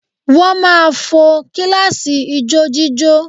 Wọ́n máà ń fo kíláàsì ijójíjó